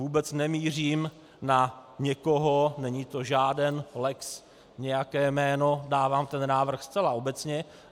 Vůbec nemířím na někoho, není to žáden lex nějaké jméno, dávám ten návrh zcela obecně.